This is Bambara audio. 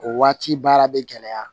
O waati baara bɛ gɛlɛya